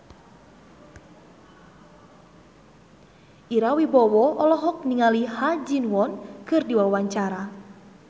Ira Wibowo olohok ningali Ha Ji Won keur diwawancara